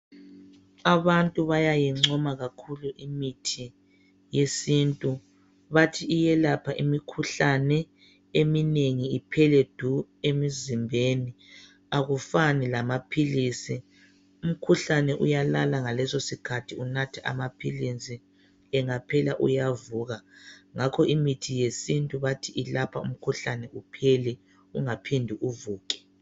Abantu bayayingcoma kakhulu imithi yesintu bathi iyelapha imikhuhlane eminengi iphele du emzimbeni akufani lamaphilisi umkhuhlane uyalala ngalesosikhathi unatha amaphilisi angaphela uyavuka. Ngakho imithi yesintu bathi ilapha umkhuhlane uphele ungaphindi uvuke.